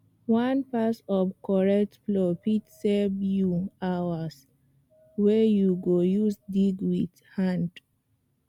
one pass of correct plow fit save you hours wey you go use dig with hand